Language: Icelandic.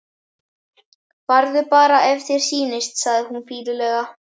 Farðu bara ef þér sýnist, segir hún fýlulega.